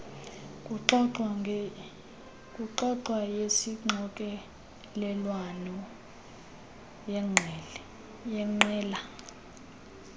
kuxoxwa yesixokelelwano yeqela